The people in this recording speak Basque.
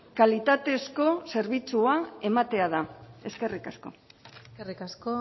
kalitatezko zerbitzua ematea da eskerrik asko eskerrik asko